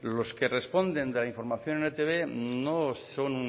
los que responden de la información en e i te be no son